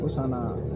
O san na